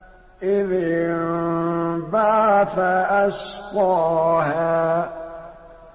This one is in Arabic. إِذِ انبَعَثَ أَشْقَاهَا